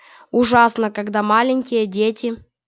ужасно когда маленькие дети